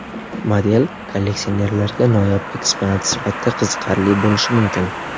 Model kolleksionerlarga noyob eksponat sifatida qiziqarli bo‘lishi mumkin.